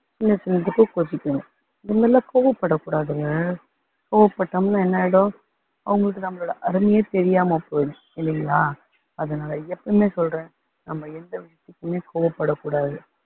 சின்ன சின்ன இதுக்கும் கோச்சுப்பீங்க, இது மாதிரியெல்லாம் கோவப்படக் கூடாதுங்க. கோவப்பட்டோம்னா என்ன ஆகிடும் அவங்களுக்கு நம்மளோட அருமையே தெரியாம போயிடும் இல்லைங்களா, அதனால எப்பயுமே சொல்றேன் நம்ம எந்த விஷயத்துக்குமே கோவப்படக்கூடாது